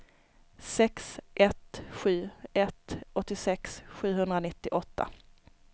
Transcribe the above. sex ett sju ett åttiosex sjuhundranittioåtta